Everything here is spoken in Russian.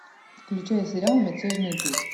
включай сериал мятежный дух